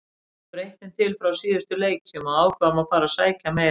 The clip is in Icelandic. Við breyttum til frá síðustu leikjum og ákváðum að fara að sækja meira.